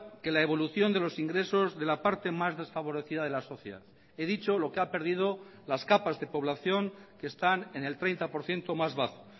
que la evolución de los ingresos de la parte más desfavorecida de la sociedad he dicho lo que ha perdido las capas de población que están en el treinta por ciento más bajo